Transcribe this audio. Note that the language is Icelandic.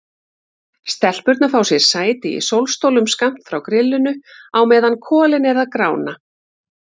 Stelpurnar fá sér sæti í sólstólum skammt frá grillinu á meðan kolin eru að grána.